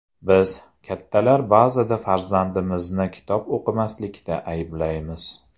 Biz, kattalar ba’zida farzandimizni kitob o‘qimaslikda ayblaymiz.